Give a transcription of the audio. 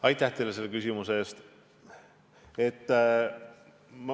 Aitäh teile selle küsimuse eest!